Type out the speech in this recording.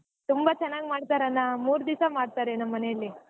ತುಂಬಾ ಚನಾಗ್ ಮಾಡ್ತಾರ್ ಅಣ್ಣಾ ಮೂರ್ ದಿವಸಾ ಮಾಡ್ತಾರೆ ನಮ್ಮನೇಲಿ.